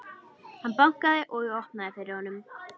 Hann bankaði og ég opnaði fyrir honum.